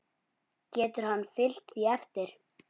Getur hann fylgt því eftir?